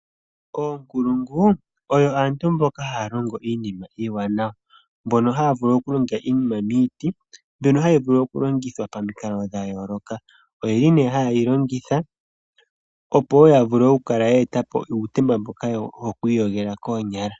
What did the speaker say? Oonkulungu oyo aantu mboka haya longo iinima iiwanawa, mbono haya vulu okulonga iinima miiti mbyono hayi vulu okulongithwa pamikalo dhayoloka. Oyili nee hayeyi longitha opo wo ya vulu yeetepo uutemba mboka hawu iyogelwa koonyala.